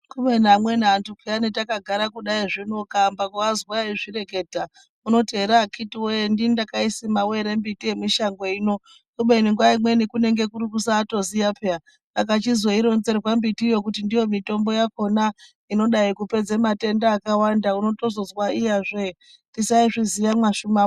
Kubeni amweni anthu pheyani takagara kudaizvi ukaamba kuazwa eizvireketa unoti ere akhiti wee ndini ndakaisimawo ere miti yemushango ino kubeni nguwa imweni nguwa imweni kunenge kuri kusaatoziya pheyani. Aka chizoironzerwa mbitiyo kuti ndiyo mitombo yakhona inodai kupedza matenda akawanda, unotozozwa iyazve tosaizviziya mabashuma.